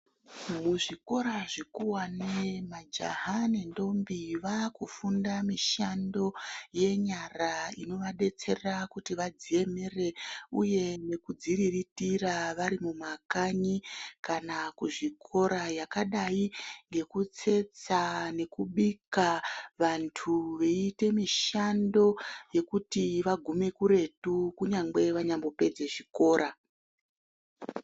Muzvikora zvikuwane majaha nendombi vaakufunda mishando yenyara inovadetsera kuti vadziemere uye nekudziriritira vari mumakanyi kana kuzvikora yakadai ngekutsetsa nekubika, vanthu veiite mishando yekuti vagume kuretu kunyangwe vanyambopedze zvichikora.